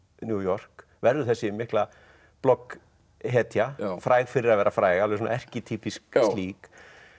New York verður þessi mikla og fræg fyrir að vera fræg alveg svona erkitýpísk slík